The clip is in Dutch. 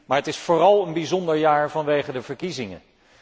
Maar het is vooral een bijzonder jaar vanwege de verkiezingen.